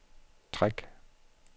træk